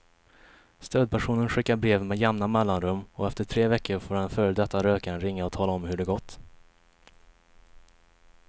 Stödpersonen skickar brev med jämna mellanrum och efter tre veckor får den före detta rökaren ringa och tala om hur det gått.